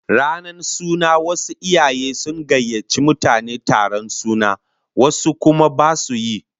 Ranar suna wasu iyaye sun gayyaci mutane taron suna, wasu kuma basu yi